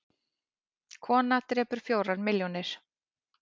Kona drepur fjórar milljónir